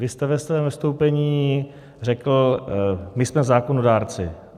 Vy jste ve svém vystoupení řekl: My jsme zákonodárci.